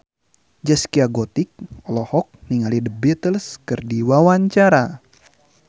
Zaskia Gotik olohok ningali The Beatles keur diwawancara